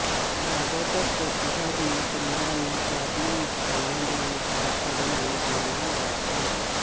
ਜ਼ਿਆਦਾਤਰ ਪ੍ਰਤਿਮਾ ਦੀਆਂ ਕੰਧਾਂ ਨੂੰ ਤੁਹਾਡੀਆਂ ਇੱਛਾਵਾਂ ਦੇ ਅਨੁਸਾਰ ਕਰਨ ਲਈ ਬਣਾਇਆ ਗਿਆ ਹੈ